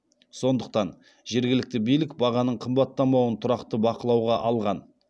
сондықтан жергілікті билік бағаның қымбаттамауын тұрақты бақылауға алған